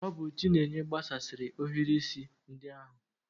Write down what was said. Ọ bụ chinenye gbasasịri ohiri isi ndi ahu